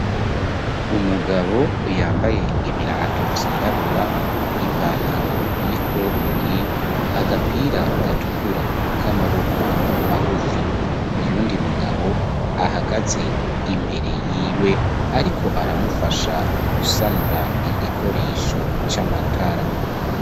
Umugabo yambaye ibirato vy'irabura ipantaro y'ikoboyi agapira gatukura k'amaboko magufi, uyundi mugabo ahagaze imbere y'iwe ariko aramufasha gusanura igikoresho c'amatara.